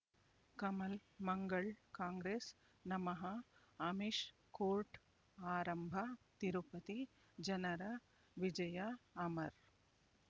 ಕಮಲ್ ಮಂಗಳ್ ಕಾಂಗ್ರೆಸ್ ನಮಃ ಅಮಿಷ್ ಕೋರ್ಟ್ ಆರಂಭ ತಿರುಪತಿ ಜನರ ವಿಜಯ ಅಮರ್